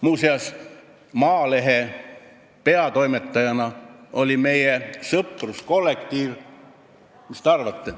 Muuseas, mis te arvate, kui ma olin Maalehe peatoimetaja, kes siis oli meie sõpruskollektiiv?